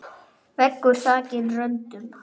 Veggur þakinn röndum.